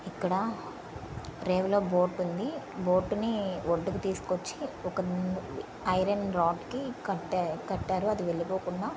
ఇక్కడ రేవులో బోట్ ఉంది. బోట్ ని ఒడ్డుకు తీసుకు వచ్చి ఒక ముందు ఐరన్ రాడ్ కి కట్టా కట్టారు. అది వెళ్లిపోకుండా.